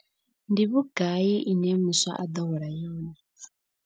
Ndi vhugai ine muswa a ḓo hola yone.